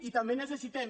i també necessitem